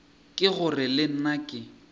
ke gore le nna ke